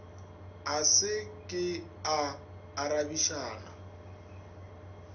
a se ke a arabišana